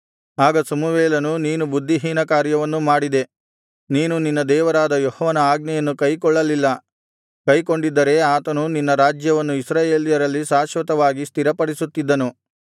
ಆಗ ಸಮುವೇಲನು ನೀನು ಬುದ್ಧಿಹೀನಕಾರ್ಯವನ್ನು ಮಾಡಿದೆ ನೀನು ನಿನ್ನ ದೇವರಾದ ಯೆಹೋವನ ಆಜ್ಞೆಯನ್ನು ಕೈಕೊಳ್ಳಲಿಲ್ಲ ಕೈಕೊಂಡಿದ್ದರೆ ಆತನು ನಿನ್ನ ರಾಜ್ಯವನ್ನು ಇಸ್ರಾಯೇಲ್ಯರಲ್ಲಿ ಶಾಶ್ವತವಾಗಿ ಸ್ಥಿರಪಡಿಸುತ್ತಿದ್ದನು